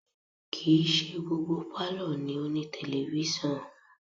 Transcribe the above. Kì í ṣe gbogbo pálọ̀ ni ó ní tẹlifísàn